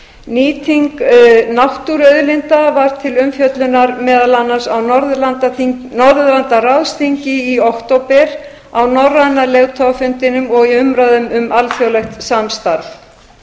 nýting náttúruauðlinda var til umfjöllunar meðal annars á norðurlandaráðsþingi í október á norræna leiðtogafundinum og í umræðum um alþjóðlegt samstarf